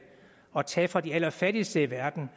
at man tager fra de allerfattigste i verden